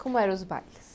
Como eram os bailes?